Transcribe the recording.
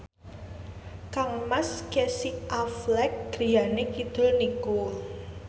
kangmas Casey Affleck griyane kidul niku